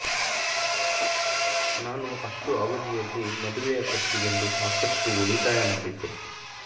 ನಾನು ಅಷ್ಟು ಅವಧಿಯಲ್ಲಿ ಮದುವೆಯ ಖರ್ಚಿಗೆಂದು ಸಾಕಷ್ಟು ಉಳಿತಾಯ ಮಾಡಿದ್ದೆ